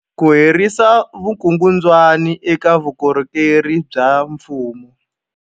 Ku herisa vukungundwani eka vukorhokeri bya mfumo.